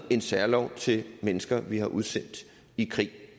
en særlov til mennesker vi har udsendt i krig